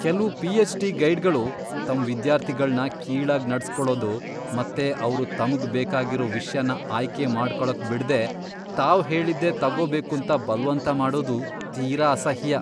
ಕೆಲ್ವು ಪಿಎಚ್.ಡಿ. ಗೈಡ್ಗಳು ತಮ್ ವಿದ್ಯಾರ್ಥಿಗಳ್ನ ಕೀಳಾಗ್ ನಡ್ಸ್ಕೊಳದು ಮತ್ತೆ ಅವ್ರು ತಮ್ಗ್ ಬೇಕಾಗಿರೋ ವಿಷ್ಯನ ಆಯ್ಕೆ ಮಾಡ್ಕೊಳಕ್ ಬಿಡ್ದೇ ತಾವ್ ಹೇಳಿದ್ದೇ ತಗೊಬೇಕೂಂತ ಬಲ್ವಂತ ಮಾಡೋದು ತೀರ ಅಸಹ್ಯ.